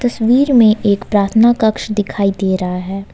तस्वीर में एक प्रार्थना कक्ष दिखाई दे रहा है।